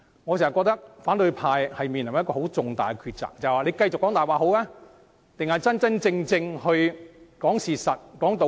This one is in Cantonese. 我認為反對派正面臨的重大抉擇是，應該繼續說謊還是說出事實和道理？